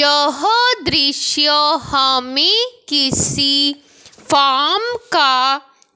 यह दृश्य हमें किसी फार्म का